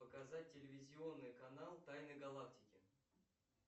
показать телевизионный канал тайны галактики